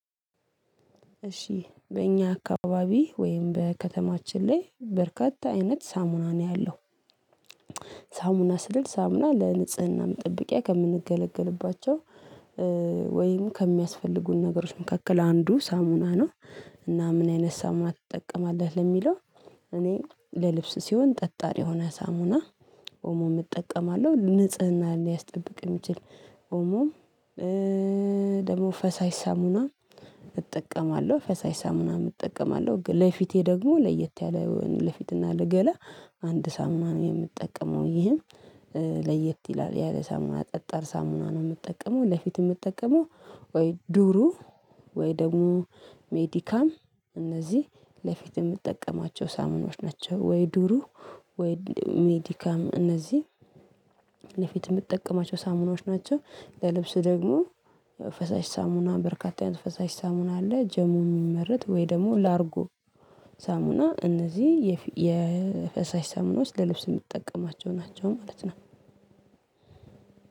እሺ በእኛ አካባቢ ወይም በከተማችን ላይ በርካታ አይነት ሳሙና ነው ያለው። ሳሙና ስል ሳሙና ለንጽህና መጠበቂያ ከምንገለገልባቸው ወይም ከሚያስፈልጉን ነገሮች መካከል አንዱ ሳሙና ነው። እና ምን አይነት ሳሙና ትጠቀማለህ? ለሚለው እኔ ለልብስ ሲሆን ጠጣር የሆነ ሳሙና ኦሞም እጠቀማለሁ። ንጽህናን ሊያስጠብቅ የሚችል ኦሞ ደግሞ ፈሳሽ ሳሙና እጠቀማለሁ። ፈሳሽ ሳምናም እጠቀማለሁ። ግን ለፊቴ ደግሞ ለየት ያለ ለፊትና ለገላ አንድ ሳምና ነው የምጠቀመው። ይህም ለየት ይላል ያለ ሳምና ጠጣር ሳምና ነው የምጠቀመው። ለፊት የምጠቀመው ወይ ዱሩ ወይ ደግሞ ሜዲካም እነዚህ ለፊት የምጠቀማቸው ሳሙናዎች ናቸው። ወይ ዱሩ ወይ ሜዲካም እነዚህ ለፊት የምጠቀማቸው ሳሙናዎች ናቸው። ለልብስ ደግሞ ፈሳሽ ሳሙና በርካታ አይነት ፈሳሽ ሳሙና አለ። ጀሞ የሚመረት ወይ ደግሞ ላርጎ ሳሙና እነዚህ የፈሳሽ ሳሙና ውስጥ ለልብስ የምጠቀማቸው ናቸው ማለት ነው።